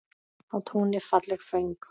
Á túni falleg föng.